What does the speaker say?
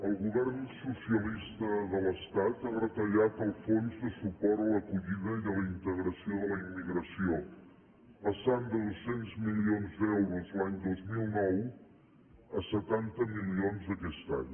el govern socialista de l’estat ha retallat el fons de suport a l’acollida i a la integració de la immigració passant de dos cents milions d’euros l’any dos mil nou a setanta milions aquest any